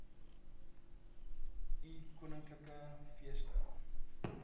ii koninklike feeste